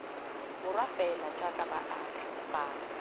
borwa fela jaaka baagi bangwe